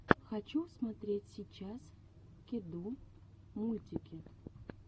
хочу смотреть сейчас кеду мультики